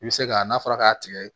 I bɛ se ka n'a fɔra k'a tigɛ